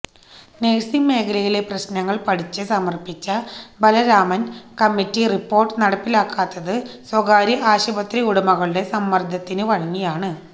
nursing മേഖലയിലെ പ്രശ്നങ്ങള് പഠിച്ച് സമര്പ്പിച്ച ബലരാമന് കമ്മറ്റി റിപ്പോര്ട്ട് നടപ്പിലാക്കാത്തത് സ്വകാര്യ ആശുപത്രി ഉടമകളുടെ സമ്മര്ദ്ദത്തിന് വഴങ്ങിയാണ്